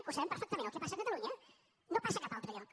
ho sabem perfectament el que passa a catalunya no passa a cap altre lloc